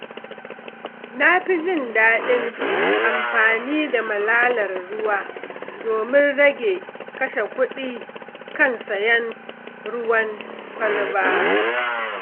Na fi jin daɗin amfani da matattarar ruwa domin rage kashe kuɗi kan sayen ruwan kwalba.